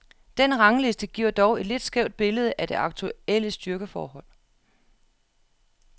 Den rangliste giver dog et lidt skævt billede af det aktuelle styrkeforhold.